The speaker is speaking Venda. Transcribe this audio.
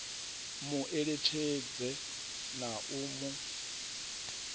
mu eletshedze na u mu